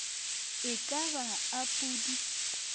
e ka ba a pudi